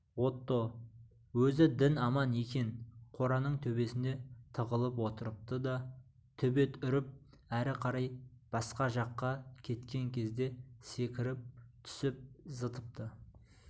отто өзі дін аман екен қораның төбесінде тығылып отырыпты да төбет үріп әрі қарай басқа жаққа кеткен кезде секіріп түсіп зытыпты